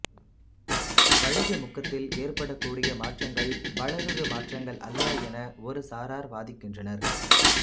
வளியமுக்கத்தில் ஏற்படக்கூடிய மாற்றங்கள் வளருருமாற்றங்கள் அல்ல என ஒருசாரார் வாதிக்கின்றனர்